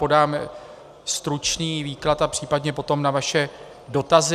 Podám stručný výklad a případně potom na vaše dotazy.